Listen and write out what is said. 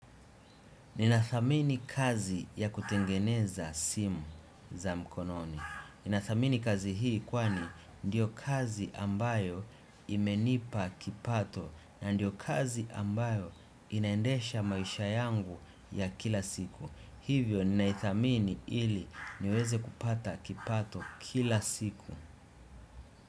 Ninathamini kazi ya kutengeneza simu za mkononi. Ninathamini kazi hii kwani ndiyo kazi ambayo imenipa kipato na ndiyo kazi ambayo inaendesha maisha yangu ya kila siku. Hivyo ninaithamini ili niweze kupata kipato kila siku.